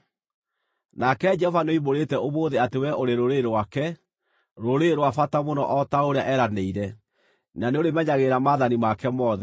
Nake Jehova nĩoimbũrĩte ũmũthĩ atĩ wee ũrĩ rũrĩrĩ rwake, rũrĩrĩ rwa bata mũno o ta ũrĩa eeranĩire, na nĩ ũrĩmenyagĩrĩra maathani make mothe.